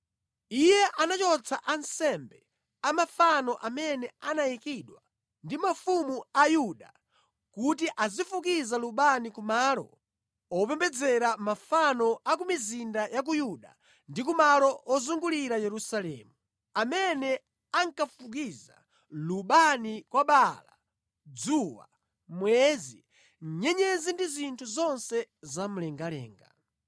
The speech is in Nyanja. Iye anachotsa ansembe a mafano amene anayikidwa ndi mafumu a Yuda kuti azifukiza lubani ku malo opembedzera mafano a ku mizinda ya ku Yuda ndi kumalo ozungulira Yerusalemu, amene ankafukiza lubani kwa Baala, dzuwa, mwezi, nyenyezi ndi zinthu zonse zamlengalenga.